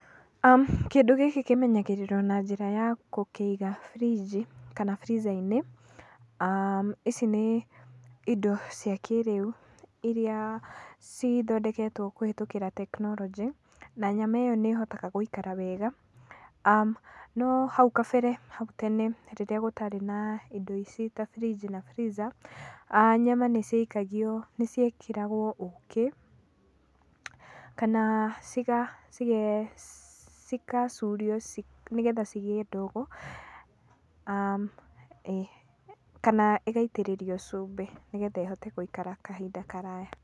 Kĩndũ gĩkĩ kimenyagĩrĩrwo na njĩra ya gũkĩiga burinji kana freezer -inĩ. Ici nĩ indo cia kĩrĩu iria cithondeketwo kũhĩtũkĩra tekinoronjĩ, na nyama ĩyo nĩ ĩhotaga gũĩkara wega. No hau kabere, hau tene rĩrĩa gũtarĩ na indo ici ta burinji na freezer, nyama nĩ ciekĩragwo ukĩ, kana cigacurio, nĩgetha cigĩe ndogo, ĩĩ, kana ĩgaitĩrĩrio cumbĩ, nĩgetha ĩhote gũikara kahinda karaya.